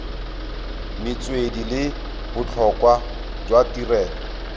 metswedi le botlhokwa jwa tirelo